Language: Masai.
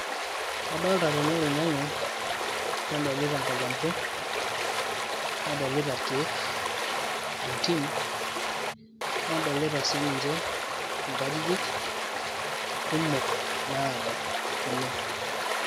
Kadolta tene oloing'ang'e, nadolita inkatambo, nadolita irkeek tentim, nadolita sininche enkajijik kumok naado oleng'.